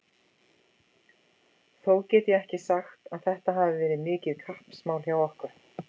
Þó get ég ekki sagt að þetta hafi verið mikið kappsmál hjá okkur.